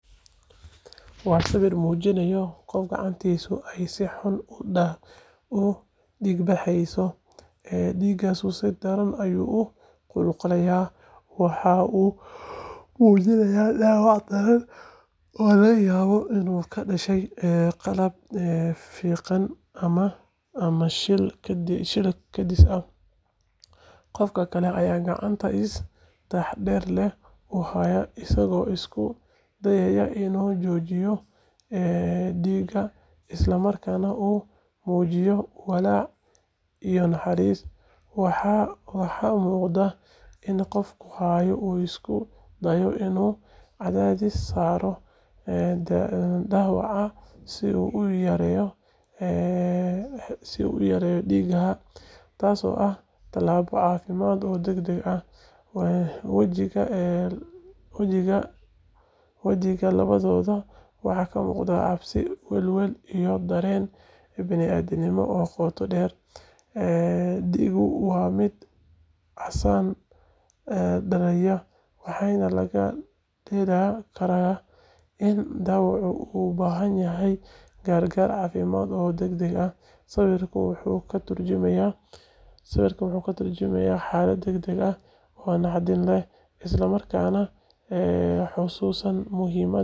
Waa sawiir mujinaaya qof gacantiisa si xun udiig baxaayo, ee diiga si daran ayuu uqulqulaaya, waxaa uu mujinaaya daawac daran oo laga yaabo inuu kadashe qalab fiiqan ama shil kadis ah, qofka kale gacanta si taxadar leh uhaaya asago isku dayaaya inuu jojiyo diiga, isla markaana uu mujiyo walaac iyo naxariis, waxaa muuqda in qofka haayo uu isku dayo inuu cadadis saaro dawaca si uu uyareyo diiga taas oo tilaabo cafimaad oo dagdag ah, wajiga labadooda waxa kamuqda cabsi biniadanimo oo qooto deer, waa mid casaan oo dalinyara, waxaana laga in dwacu uu ubahan yahay gargaar cafimaad oo dagdag ah, sawirku wuxuu katurjumayaa xalad dagdag oo naxdin leh isla markaana xasuusan muhimaad.